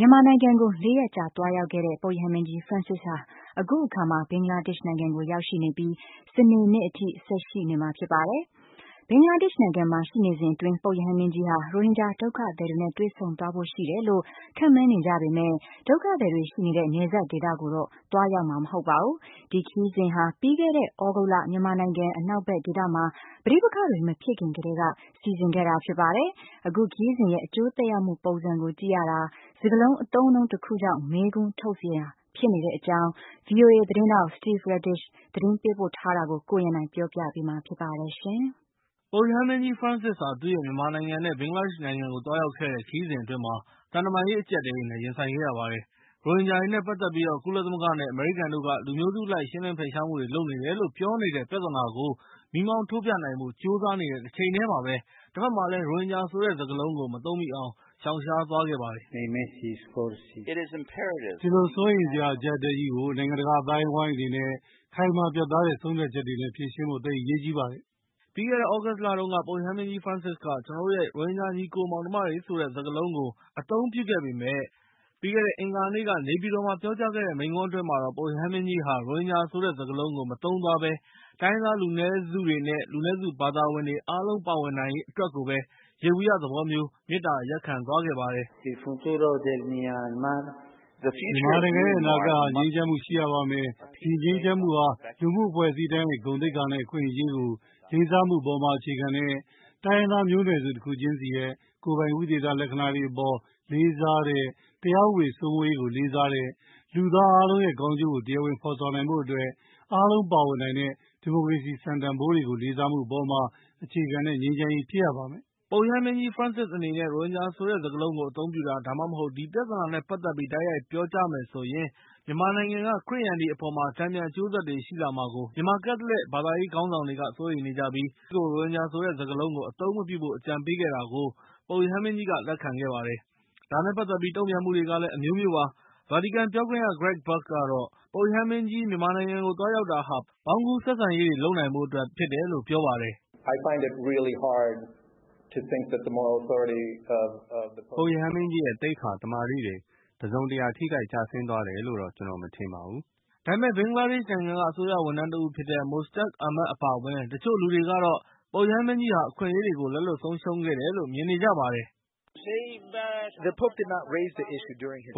မြန်မာနိုင်ငံကို ၄ ရက်ကြာသွားရောက်ခဲ့တဲ့ ပုပ်ရဟန်းမင်းကြီး ဖရန့်စစ်ဟာ အခုအခါမှာ ဘင်္ဂလားဒေ့ရှ်နိုင်ငံကိုရောက်ရှိနေပြီး၊ စနေနေ့အထိ ဆက်ပြီးရှိသွားမှာဖြစ်ပါတယ်။ ဘင်္ဂလားဒေ့ရှ်နိုင်ငံမှာရှိနေစဉ်အတွင်း၊ ပုပ်ရဟန်းမင်းကြီးဟာ ရိုဟင်ဂျာဒုက္ခသည်တွေနဲ့ တွေ့ဆုံသွားဖို့ ရှိတယ်လို့ ခန့်မှန်းနေကြပေမယ့်၊ ရိုဟင်ဂျာဒုက္ခသည်တွေရှိနေတဲ့ နယ်စပ်ဒေသကိုတော့သွားရောက်မှာမဟုတ်ပါဘူး။ ဒီခရီးစဉ်ဟာ ပြီးခဲ့တဲ့ သြဂုတ်လ ပဋိပက္ခတွေမဖြစ်ခင်ကတည်းကစီစဉ်ခဲ့တာဖြစ်ပြီး၊ ပုပ်ခရီးစဉ်ရဲ့ အကျိုးသက်ရောက်မှုပုံစံကြည့်ရတာကတော့ စကားလုံး တလုံးကြောင့် မေးခွန်းထုတ်စရာဖြစ်နေပါတယ်။ VOA သတင်းထောက် Steve Redisch သတင်းပေးပို့ထားတာကို ကိုရန်နိုင်က ပြောပြပေးမှာဖြစ်ပါတယ်။ ပုပ်ရဟန်းမင်းကြီး ဖရန့်စစ်ဟာ သူရဲ့ မြန်မာနိုင်ငံ နဲ့ ဘင်္ဂလားဒေ့ရှ်နိုင်ငံကိုသွားရောက်ခဲ့တဲ့ ခရီးစဉ်အတွင်း သံတမန်ရေးအကြပ်အတည်းနဲ့ ရင်ဆိုင်ခဲ့ရပါတယ်။ ရိုဟင်ဂျာတွေနဲ့ ပတ်သက်ပြီး ကုလသမဂ္ဂနဲ့ အမေရိကန်တို့က လူမျိုးစုအလိုက်ရှင်းလင်းဖယ်ရှားမှုတွေလုပ်နေတယ်လို့ ပြောနေတဲ့ ပြဿနာကို မီးမှောင်ထိုးပြနိုင်ဖို့ ကြိုးစားနေတဲ့တချိန်တည်းမှာပဲ၊ တဘက်မှာလည်း ရိုဟင်ဂျာဆိုတဲ့ စကားလုံးကို မသုံးမိအောင် ရှောင်ရှားသွားခဲ့ပါတယ်။ "ဒီလို စိုးရိမ်စရာအကြပ်အတည်းကြီးကို နိုင်ငံတကာအသိုင်းအဝိုင်းအနေနဲ့ ခိုင်မာပြတ်သားတဲ့ဆုံးဖြတ်ချက်တွေနဲ့ ဖြေရှင်းဖို့ သိပ်အရေးကြီးပါတယ်။" ပြီးခဲ့တဲ့ သြဂုတ်လတုန်းကတော့ ၊ ပုပ်ရဟန်းမင်းကြီးဖရန့်စစ်က ကျနော်တို့ရဲ့ ရိုဟင်ဂျာညီအစ်ကိုမောင်နှမတွေဆိုတဲ့ စကားလုံးကို အသုံးပြုခဲ့ပါတယ်။ ဒါပေမဲ့ ပြီးခဲ့တဲ့ အင်္ဂါနေ့က နေပြည်တော်မှာ မိန့်ခွန်းပြောကြားခဲ့စဉ်အတွင်းမှာတော့ ပုပ်ရဟန်းမင်းကြီးဟာ ရိုဟင်ဂျာဆိုတဲ့ စကားလုံးကို မသုံးသွားဘဲ၊ တိုင်းရင်းသားလူနည်းစုတွေ နဲ့ လူနည်းစုဘာသာဝင်တွေ အားလုံးပါဝင်နိုင်ရေးအတွက်ကိုပဲ ယေဘုယျသဘောမျိုး မေတ္တာရပ်ခံသွားပါတယ်။ "မြန်မာနိုင်ငံရဲ့ အနာဂတ်ဟာ ငြိမ်းချမ်းမှုရှိရပါမယ်။ အဲဒီငြိမ်းချမ်းမှုဟာ လူမှု့အဖွဲ့အစည်းတိုင်းရဲ့ ဂုဏ်သိက္ခာနဲ့ အခွင့်အရေးကိုလေးစားမှုအပေါ် အခြေခံတဲ့ ၊ တိုင်းရင်းသားမျိုးနွယ်စုတခုချင်းစီးရဲ့ ကိုယ်ပိုင်ဝိသေသလက္ခဏာတွေအပေါ် လေးစားတဲ့၊ တရားဥပဒေစိုးမိုးရေးကိုလေးစားတဲ့၊ လူသားအားလုံးရဲ့ ကောင်းကျိုးကို တရားဝင်ဖော်ဆောင်နိုင်ဖို့အတွက်၊ အားလုံးပါဝင်နိုင်တဲ့ ဒီမိုကရေစီစံတန်ဖိုးတွေကို လေးစားမှုပေါ် အခြေခံတဲ့ ငြိမ်းချမ်းရေးဖြစ်ရပါမယ်။" ပုပ်ရဟန်းမင်းကြီး ဖရန်စစ်အနေနဲ့ ရိုဟင်ဂျာဆိုတဲ့ စကားလုံးကို အသုံးပြုတာ၊ ဒါမှမဟုတ် ဒီပြဿနာနဲ့ ပတ်သက်ပြီး တိုက်ရိုက်ပြောကြားမယ် ဆိုရင်၊ မြန်မာနိုင်ငံက ခရစ်ယာန်တွေအပေါ် တန်ပြန်အကျိုးဆက်တွေရှိလာမှာကို မြန်မာကက်သလစ်ဘာသာရေးခေါင်းဆောင်တွေက စိုးရိမ်နေကြပြီး၊ ပုပ်ရဟန်းမင်းကြီးကို ရိုဟင်ဂျာဆိုတဲ့စကားလုံးကို အသုံးမပြုဖို့ အကြံပေးခဲ့တာကို ပုပ်ရဟန်းမင်းကြီးက လက်ခံခဲံပါတယ်။ ဒါနဲ့ ပတ်သက်ပြီးတုံ့ပြန်မှုတွေကလည်း အမျိုးမျိုးပါ။ ဗာတီကန်ပြောခွင့်ရပုဂ္ဂိုလ် Greg Burke ကတော့ - ပုပ်ရဟန်းမင်းကြီး မြန်မာနိုင်ငံကို သွားရောက်တာဟာ ပေါင်းကူးတည်ဆောက်မှုတွေလုပ်နိုင်ဖို့အတွက်ဖြစ်တယ်လို့ပြောပါတယ်။ "ပုပ်ရဟန်းမင်းကြီးရဲ့ သိက္ခာ၊ သမာဓိတွေ တစုံတရာထိခိုက်ကျဆင်းသွားတယ်လို့တော့ ကျနော်မထင်ပါဘူး။" ဒါပေမဲ့ ဘင်္ဂလားဒေ့ရှ်နိုင်ငံက အစိုးရဝန်ထမ်းတဦဖြစ်တဲ့ Mostak Ahmed အပါအဝင် တချို့လူတွေကတော့ ပုပ်ရဟန်းမင်းကြီးဟာ အခွင့်အရေးကို လက်လွတ်ဆုံးရှုံးခဲ့တယ်လို့ မြင်နေကြပါတယ်။ "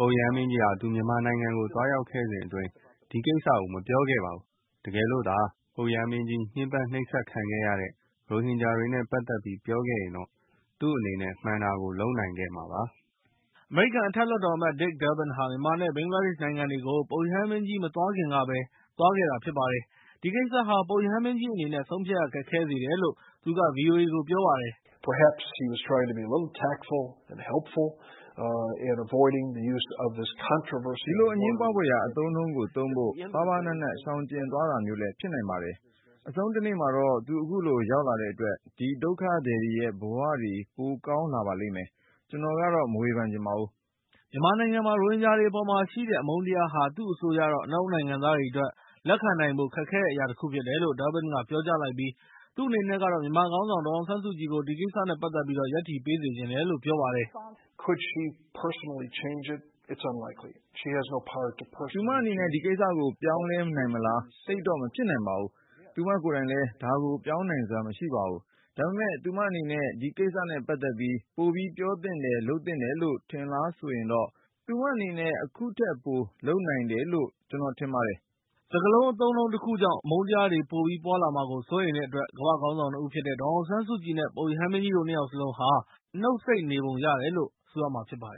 ပုပ်ရဟန်းမင်းကြီးဟာ သူမြန်မာနိုင်ငံကိုသွားရောက်ခဲ့စဉ်အတွင်း ဒီကိစ္စကိုမပြောခဲ့ပါဘူး။ တကယ်လို့သာ ပုပ်ရဟန်းမင်းကြီး ညင်းပမ်းနှိပ်စက်ခံခဲ့ရတဲ့ ရိုဟင်ဂျာတွေနဲ့ ပတ်သက်ပြီး ပြောခဲ့ရင်တော့ ၊ သူ့အနေနဲ့ မှန်တာကိုလုပ်နိုင်ခဲ့မှာပါ။" အမေရိကန်အထက်အလွှတ်တော်အမတ် Dick Durban ဟာ မြန်မာ နဲ့ ဘင်္ဂလားဒေ့ရှ်နိုင်ငံတွေကို ပုပ်ရဟန်းမင်းကြီး မသွားခင်ကပဲ သွားထားတာဖြစ်ပါတယ်။ ဒီကိစ္စဟာ ပုပ်ရဟန်းမင်းကြီးအနေနဲ့ ဆုံးဖြတ်ရခက်ခဲစေတယ်လို့ သူက ဗီအိုအေကို ပြောပါတယ်။ "ဒီလိုအငြင်းပွားဖွယ်ရာအသုံးအနှုန်းကို သုံးဖို့ ပါးပါးနပ်နပ်ရှောင်ကြဉ်သွားတာမျိုးလည်းဖြစ်နိုင်ပါတယ်။ အဆုံးတနေ့မှာတော့ သူ့အခုလိုလာရောက်တဲ့အတွက် ဒီဒုက္ခသည်တွေရဲ့ ဘဝတွေရဲ့ ပိုကောင်းလာပါလိမ့်မယ်။ ကျနော်ကတော့ မဝေဖန်ချင်ပါဘူး။" မြန်မာနိုင်ငံမှာ ရိုဟင်ဂျာတွေအပေါ်မှာရှိနေတဲ့ အမုန်းတရားဟာ သူ့အဆိုအရတော့ အနောက်နိုင်ငံသားတွေအတွက် လက်ခံနိုင်ဖို့ခက်ခဲတဲ့အရာတခုဖြစ်တယ်လို့ Durbin က ပြောကြားလိုက်ပြီး၊ သူ့အနေနဲ့ကတော့ မြန်မာခေါင်းဆောင် ဒေါ်အောင်ဆန်းစုကြည်ကို ဒီကိစ္စနဲ့ ပတ်သက်ပြီး ရပ်တည်ပေးစေချင်တယ်လို့ ပြောပါတယ်။ "သူမအနေနဲ့ ဒီကိစ္စကိုပြောင်းလဲ နိုင်မလား၊ သိပ်တော့မဖြစ်နိုင်ပါဘူး။ သူမကိုယ်တိုင်လည်း ဒါကို ပြောင်းနိုင်စွမ်းမရှိပါဘူး။ ဒါပေမဲ့ သူမအနေနဲ့ ဒီကိစ္စနဲ့ ပတ်သက်ပြီး ပိုပြီးပြောသင့်တယ် လုပ်သင့်တယ်လို့ ထင်လားဆိုရင်တော့ ၊ သူ့မအနေနဲ့ အခုထက်ပိုလုပ်နိုင်တယ်လို့ ကျနော်ထင်ပါတယ်။" စကားလုံး အသုံးအနှုန်းတခုကြောင့် အမုန်းတရားတွေပိုပြီးပွားမှာကို စိုးရိမ်တဲ့အတွက် ကမ္ဘာ့ခေါင်းဆောင် ၂ ဦးဖြစ်တဲ့ ဒေါ်အောင်ဆန်းစုကြည် နဲ့ ပုပ်ရဟန်းမင်းကြီးတို့ ၂ ယောက်စလုံးဟာ နှုတ်ဆိတ်နေပုံရတယ်လို့ ဆိုရမှာဖြစ်ပါတယ်